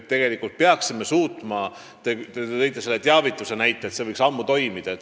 Te tõite näiteks teavitussüsteemi, öeldes, et see võiks ammu toimida.